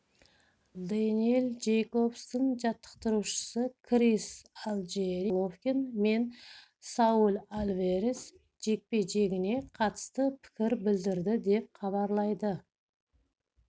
дэниэл джейкобстың жаттықтырушысы крис алджиери геннадий головкин мен сауль альварес жекпе-жегіне қатысты пікір білдірді деп хабарлайды